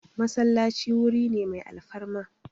Masallaci wuri ne mai alfarma